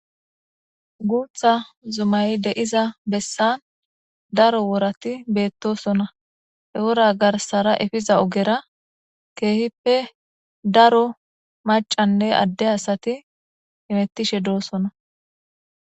guutha zumayi de7iza bessan daro worati beettosona he wora garsara efiza ogera keehippe daro macanne adde asati hemettishe doosona